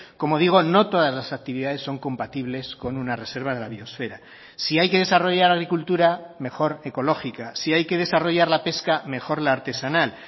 como digo no todas las actividades son compatibles con una reserva de la biosfera si hay que desarrollar agricultura mejor ecológica si hay que desarrollar la pesca mejor la artesanal